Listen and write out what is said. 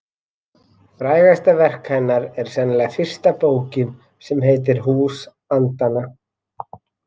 Frægasta verk hennar er sennilega fyrsta bókin sem heitir Hús andanna.